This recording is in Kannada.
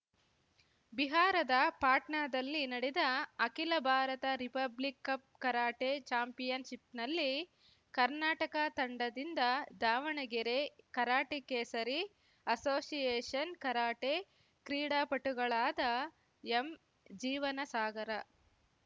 ಬಿಹಾರದ ಪಾಟ್ನಾದಲ್ಲಿ ನಡೆದ ಅಖಿಲ ಭಾರತ ರಿಪಬ್ಲಿಕ್‌ ಕಪ್‌ ಕರಾಟೆ ಚಾಂಪಿಯನ್‌ಶಿಪ್‌ನಲ್ಲಿ ಕರ್ನಾಟಕ ತಂಡದಿಂದ Davanagere karate Kesari association karate ಕ್ರೀಡಾಪಟುಗಳಾದ ಎಂಜೀವನಸಾಗರ